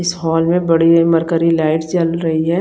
इस हॉल में बड़ी लाइट जल रही है।